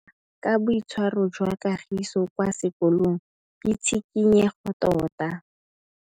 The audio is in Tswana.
Go batlisisa ka boitshwaro jwa Kagiso kwa sekolong ke tshikinyêgô tota.